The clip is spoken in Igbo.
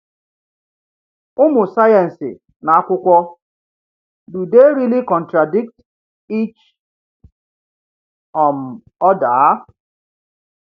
Ụ̀mụ̀ sayensị na akwụkwọ Do They Really Contradict Each um Other?